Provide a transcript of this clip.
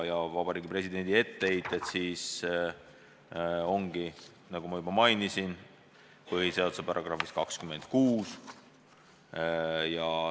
Seega, Vabariigi Presidendi etteheited tulenevad, nagu ma juba mainisin, põhiseaduse §-st 26.